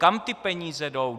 Kam ty peníze jdou?